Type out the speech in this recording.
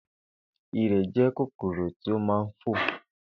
Ìrẹ̀ jẹ́ kòkòrò tí ó ma ń fò.